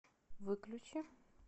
выключи